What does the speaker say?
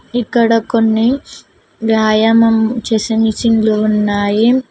ఇక్కడ కొన్ని వ్యాయామం చేసే మెషిన్ లు ఉన్నాయి